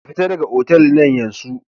Ka fitar daga otal nan yansu!